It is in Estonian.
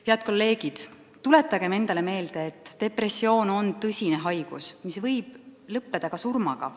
Head kolleegid, tuletagem endale meelde, et depressioon on tõsine haigus, mis võib lõppeda ka surmaga.